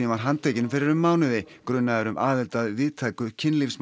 var handtekinn fyrir um mánuði grunaður um aðild að víðtæku